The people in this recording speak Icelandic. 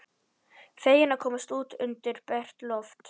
Feginn að komast út undir bert loft.